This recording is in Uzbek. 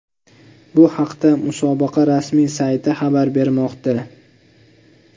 Bu haqda musobaqa rasmiy sayti xabar bermoqda .